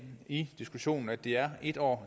i diskussionen at det er en år